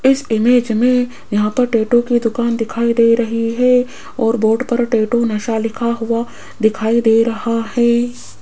इस इमेज में यहां पर टैटू की दुकान दिखाई दे रही है और बोर्ड टैटू नशा लिखा हुआ दिखाई दे रहा है।